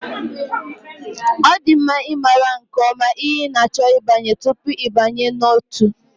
Ọ dị mma ịmara nke ọma ihe ị na-achọ ịbanye tupu ịbanye n'ótú